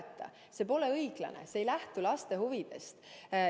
pole õiglane, see ei lähtu laste huvidest.